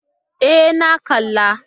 E, na kalla.